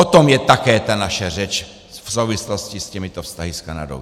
O tom je také ta naše řeč v souvislosti s těmito vztahy s Kanadou.